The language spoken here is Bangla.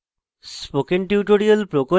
spoken tutorial প্রকল্প the